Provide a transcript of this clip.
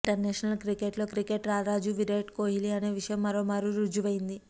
international cricket లో cricket రారాజు విరాట్ కోహ్లీ అనే విషయం మరోమారు రుజువైంది